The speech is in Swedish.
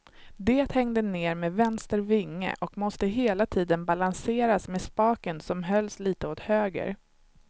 Det hängde ned med vänster vinge och måste hela tiden balanseras med spaken som hölls litet åt höger.